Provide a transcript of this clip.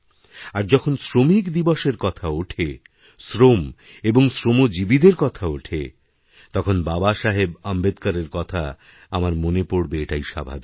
আরযখন শ্রমিক দিবসের কথা ওঠে শ্রম এবং শ্রমিজীবীদের কথা ওঠে তখন বাবাসাহেব আম্বেদকরেরকথা আমার মনে পড়বে এটাই স্বাভাবিক